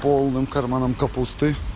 полным карманам капусты